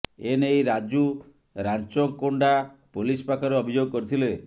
ଏ ନେଇ ରାଜୁ ରାଞ୍ଚକୋଣ୍ଡା ପୋଲିସ ପାଖରେ ଅଭିଯୋଗ କରିଥିଲେ